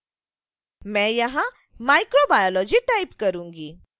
मैं यहाँ microbiology type करूंगी